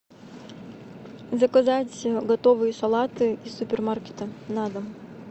заказать готовые салаты из супермаркета на дом